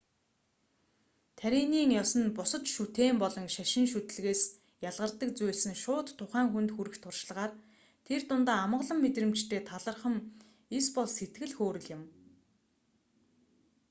таринын ёс нь бусад шүтээн болон шашин шүтлэгээс ялгардаг зүйлс нь шууд тухайн хүнд хүрэх туршлагаар тэр дундаа амгалан мэдрэмжтэй талархам эсбол сэтгэл хөөрөл юм